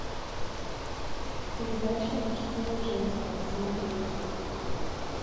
передача мужское женское смотреть